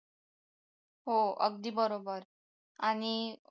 हो अगदी बरोबर आणि